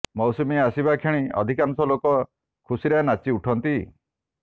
ମୌସୁମୀ ଆସିବା କ୍ଷଣି ଅଧିକାଂଶ ଲୋକ ଖୁସିରେ ନାଚି ଉଠନ୍ତି